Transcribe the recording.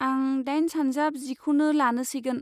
आं दाइन सानजाब जिखौनो लानोसैगोन।